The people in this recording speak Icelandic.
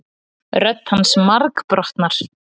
Rödd hans margbrotnar.